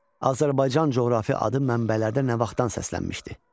Azərbaycan coğrafi adı mənbələrdə nə vaxtdan səslənmişdi?